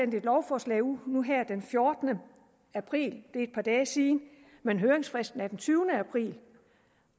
er jo nu her den fjortende april det er et par dage siden men høringsfristen er den tyvende april